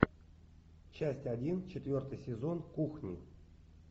часть один четвертый сезон кухни